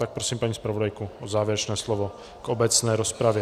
Tak prosím, paní zpravodajko, o závěrečné slovo k obecné rozpravě.